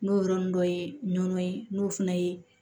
N'o yɔrɔnin dɔ ye nɔnɔ ye n'o fana ye